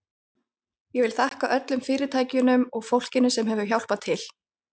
Ég vil þakka öllum fyrirtækjunum og fólkinu sem hefur hjálpað til.